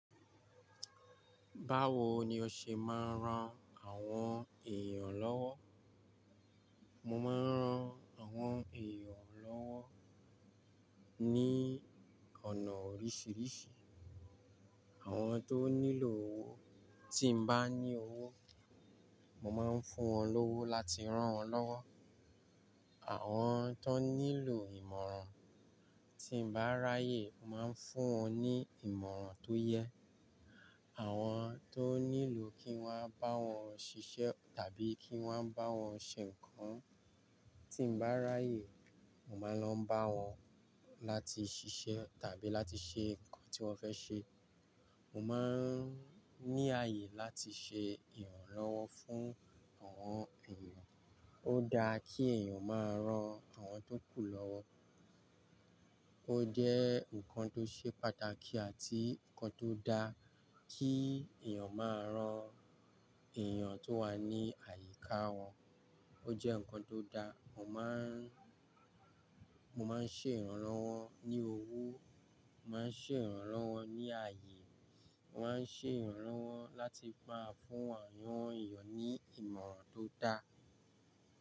Báwo ni o ṣe máa ń ran àwọn èèyàn lọ́wọ́? Mo máa ń ran àwọn èèyàn lọ́wọ́ ní ọ̀nà oríṣiríṣi. Àwọn tó nílò owó, tí mo bá ní owó, mo máa ń fún wọn lówó láti rán wọn lọ́wọ́. Àwọn tó nílò ìmọ̀ràn, tí mo bá ráyè, mo máa ń fún wọn ní ìmọ̀ràn tó yẹ. Àwọn tó nílò kí wọ́n bá wọn ṣiṣẹ́ tàbí kí wọ́n bá wọn ṣe nǹkan, tí mo bá ráyè, mo máa ń lọ bá wọn láti ṣiṣẹ́ tàbí láti ṣe nǹkan tí wọ́n fẹ́ ṣe. Mo máa ń ní ààyè láti ṣe ìrànlọ́wọ́ fún àwọn èèyàn. Ó da ki èèyàn máa rán àwọn tó kù lọ́wọ́. Ó jẹ́ nǹkan tó ṣe pàtàkì àti nǹkan tó da kí èèyàn máa rán èèyàn tó wà ní àyíká wọn. O jẹ́ nǹkan tó da. Mo máa ń, mo máa ń ṣe ìrànlọ́wọ́ ní owó, mo máa ń ṣe ìrànlọ́wọ́ ní ààyè, mo máa ń ṣe ìrànlọ́wọ́ láti máa fún àwọn èèyàn ní ìmọ̀ràn tó da.